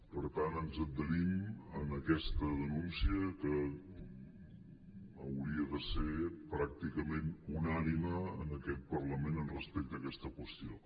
per tant ens adherim a aquesta denúncia que hauria de ser pràcticament unànime en aquest parlament respecte a aquesta qüestió